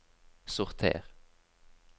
sorter